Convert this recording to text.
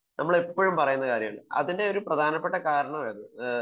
നമ്മൾ ഇപ്പോഴും പറയുന്ന ഒരു കാര്യമാണ് അതിന്റെ ഒരു പ്രധാനപ്പെട്ട കാരണമാണ് ഇത്